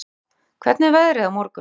Asía, hvernig er veðrið á morgun?